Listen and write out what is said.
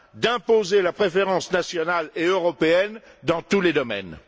d'imposer la préférence nationale et européenne dans tous les domaines.